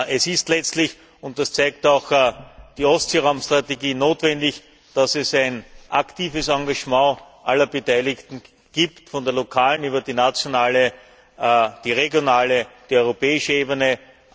Es ist letztlich und das zeigt auch die Ostseeraumstrategie notwendig, dass es ein aktives Engagement aller Beteiligten gibt, von der lokalen über die nationale und die regionale bis zur europäischen Ebene.